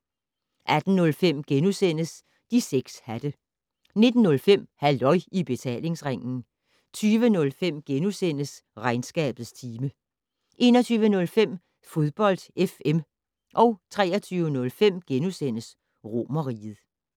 18:05: De 6 hatte * 19:05: Halløj I Betalingsringen 20:05: Regnskabets time * 21:05: Fodbold FM 23:05: Romerriget *